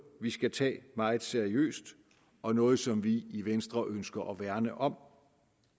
vi skal tage meget seriøst og nogle som vi i venstre ønsker at værne om